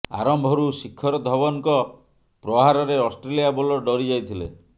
ଆରମ୍ଭରୁ ଶିଖର ଧବନଙ୍କ ପ୍ରହାରରେ ଅଷ୍ଟ୍ରେଲିଆ ବୋଲର ଡରି ଯାଇଥିଲେ